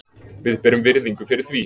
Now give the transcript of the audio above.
Við berum virðingu fyrir því.